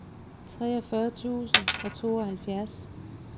treogfyrre tusind og tooghalvfjerds